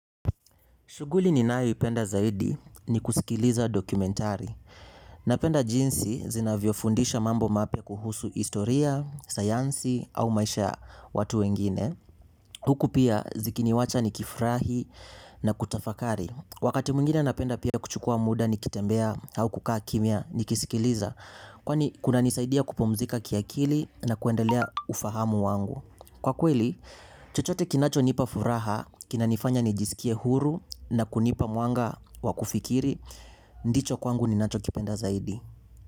Shughuli ninayoipenda zaidi ni kusikiliza dokumentari napenda jinsi zinavyofundisha mambo mapya kuhusu historia sayansi au maisha ya watu wengine huku pia zikiniwacha nikifurahi na kutafakari wakati mwingine napenda pia kuchukua muda nikitembea au kukaa kimya nikisikiliza kwani kunanisaidia kupumzika kiakili na kuendelea ufahamu wangu kwa kweli chochote kinachonipa furaha kinanifanya nijisikie huru na kunipa mwanga wa kufikiri ndicho kwangu ninachokipenda zaidi.